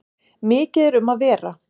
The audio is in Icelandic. Mikið er um að vera.